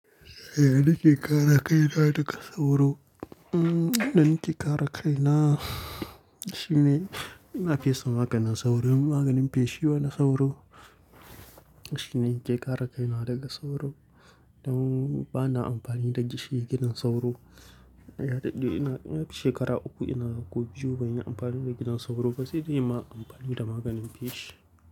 Yaya nake kare kaina daga sauro? Hmm, yanda na ke kare kai na. Shine, ina fesa maganin sauro, maganin fishi ba na sauro. Shine in ke kare kai na daga sauro. Don ba na amfani da shi gidan sauro. Shekara uku ina ga ko biyu ban yi amfani da gidan sauro, sai dai ya ma amfani da maganin feshi.